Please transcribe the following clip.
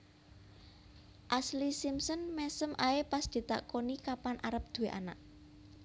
Ashlee Simpson mesem ae pas ditakoni kapan arep duwe anak